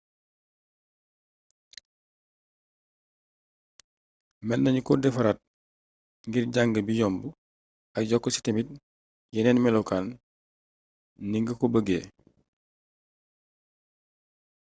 meennagnu ko défaraat ngir jang bi yomb ak yokk ci tamit yénéni mélokaan ni ngako beeggé